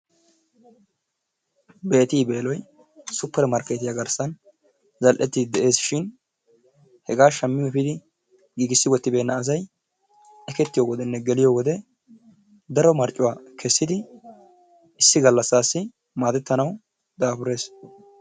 Bettey beloy super markettiya gidon zaleteshin hega shami wotibennaa asay eketiyone geletiyo galasan daro marcuwaa kessidi issi galasasi madetanawu dafuressi.